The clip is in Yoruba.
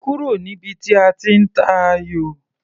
Kúrò níbi tí a ti ń tayò!